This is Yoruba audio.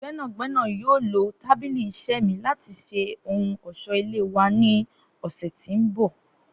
Gbẹnagbẹna yoo lo tabili iṣẹ mi lati ṣe ohun ọṣọ-ile wa ni ọsẹ ti n bọ.